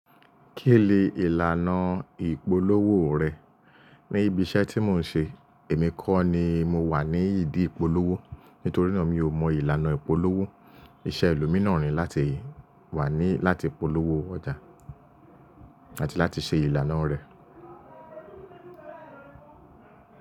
Ki le ìlànà ìpolówó rẹ? Níbi iṣẹ́ tí mò ń ṣe, èmi kọ́ ni mo wà ní ìdí ìpolówó. Nítorí náà mi ò mọ ìlànà ìpolówó. Iṣẹ́ ẹlòmíràn ni láti wà ní láti polówó ọjà àti láti ṣe ìlànà rẹ̀.